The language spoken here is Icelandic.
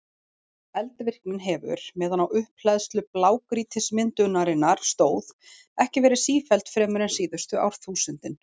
Eldvirknin hefur, meðan á upphleðslu blágrýtismyndunarinnar stóð, ekki verið sífelld fremur en síðustu árþúsundin.